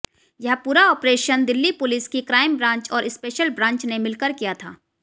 यह पूरा operation Delhi police की क्राइम ब्रांच और स्पेशल ब्रांच ने मिलकर किया था